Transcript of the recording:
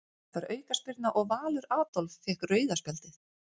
Dæmd var aukaspyrna og Valur Adolf fékk rauða spjaldið.